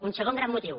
un segon gran motiu